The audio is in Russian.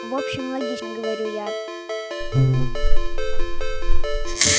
в общем логично говорю я